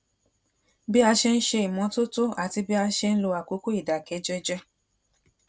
bí a ṣe ń ṣe ìmótótó àti bí a ṣe ń lo àkókò ìdákẹ jẹjẹ